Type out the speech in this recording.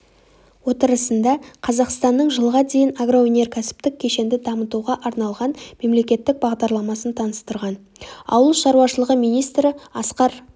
отырысында қазақстанның жылға дейін агроөнеркәсіптік кешенді дамытуға арналған мемлекеттік бағдарламасын таныстырған ауыл шаруашылығы министрі асқар